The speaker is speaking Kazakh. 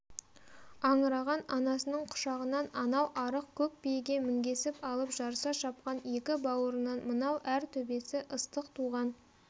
аңыраған анасының құшағынан анау арық көк биеге мінгесіп алып жарыса шапқан екі бауырынан мынау әр төбесі ыстық туған